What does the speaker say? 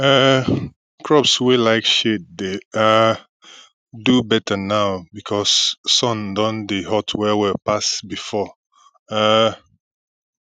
um crops wey like shade dey um do better now because sun don dey hot well well pass before um